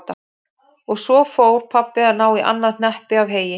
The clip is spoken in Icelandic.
Og svo fór pabbi að ná í annað hneppi af heyi.